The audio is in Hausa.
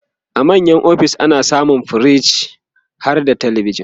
a manya ofis ana samun firij harda telebijan